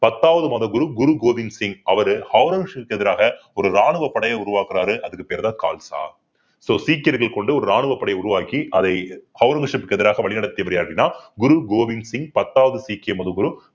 பத்தாவது மதகுரு கோவிந்த் சிங் அவரு ஔரங்கசீப்க்கு எதிராக ஒரு ராணுவ படைய உருவாக்குறாரு அதுக்கு பேருதான் கால்சா so சீக்கியர்கள் கொண்டு ஒரு ராணுவப்படை உருவாக்கி அதை ஔரங்கசீப்க்கு எதிராக வழிநடத்தியபடியாடினால் குரு கோவிந்த் சிங் பத்தாவது சீக்கிய மதகுரு